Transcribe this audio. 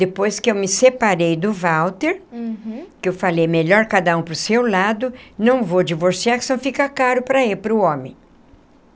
Depois que eu me separei do Walter uhum, que eu falei melhor cada um para o seu lado, não vou divorciar que senão fica caro para ele, para o homem.